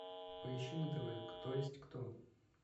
поищи на тв кто есть кто